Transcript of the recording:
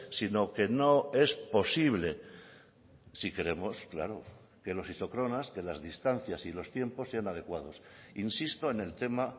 sino que no es posible si queremos claro que los isócronas que las distancias y los tiempos sean adecuados insisto en el tema